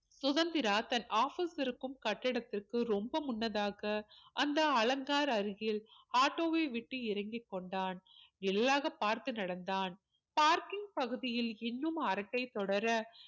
சுதந்திரா தன் office இருக்கும் கட்டிடத்திற்கு ரொம்ப முன்னதாக அந்த அலங்கார் அருகில் ஆட்டோவை விட்டு இறங்கி கொண்டான் எள்ளாக பார்த்து நடந்தான் parking பகுதியில் இன்னும் அரட்டை தொடர